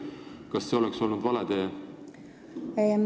Kas see oleks olnud vale tee?